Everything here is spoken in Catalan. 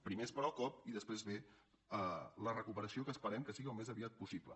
primer es para el cop i després ve la recuperació que esperem que sigui al més aviat possible